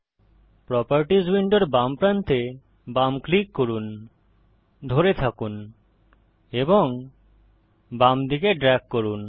properties উইন্ডোর বাম প্রান্তে বাম ক্লিক করুন ধরে থাকুন এবং বামদিকে ড্রেগ করুন